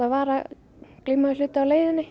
var að glíma við hluti á leiðinni